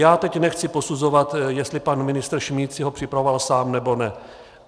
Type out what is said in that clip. Já teď nechci posuzovat, jestli pan ministr Šmíd si ho připravoval sám, nebo ne.